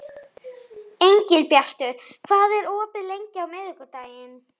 Engilbjartur, hvað er opið lengi á miðvikudaginn?